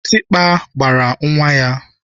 Kitikpa gbara nwa ya.